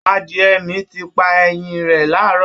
Adìẹ mi ti pa ẹyin rẹ̀ láàárọ̀